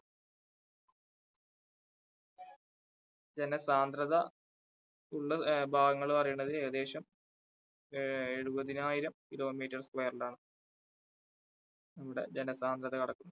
ജനസാന്ദ്രത ഉള്ള ആ ഭാഗങ്ങള് പറയണത് ഏകദേശം ഏ എഴുപതിനായിരം kilometer square ലാണ് അവിടെ ജനസാന്ദ്രത കിടക്കുന്നത്.